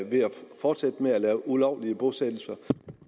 fortsætte med at lave ulovlige bosættelser